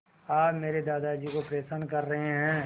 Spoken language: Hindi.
आप मेरे दादाजी को परेशान कर रहे हैं